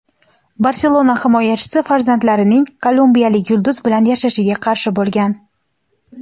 "Barselona" himoyachisi farzandlarining kolumbiyalik yulduz bilan yashashiga qarshi bo‘lgan.